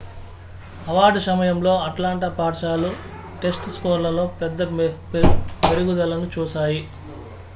award సమయంలో Atlanta పాఠశాలలు test స్కోర్లలో పెద్ద మెరుగుదలను చూశాయి